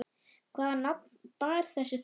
Hvaða nafn bar þessi þota?